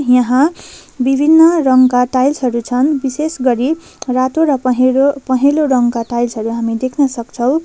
यहाँ विभिन्न रङका टाइल्स हरू छन् विशेषगरी रातो र पहेँलो पहेँलो रङका टाइल्स हरू हामी देख्न सक्छौँ।